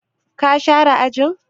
Ka share ajin?